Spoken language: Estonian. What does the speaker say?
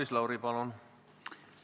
Maris Lauri, palun!